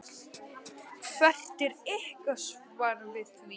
Hvert er ykkar svar við því?